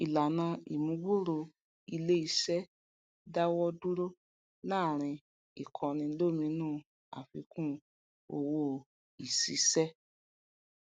ìlànà ìmúgbòòrò iléisé dáwọ dúró láàrin ìkọni lómi nú àfikún owó ìsisẹ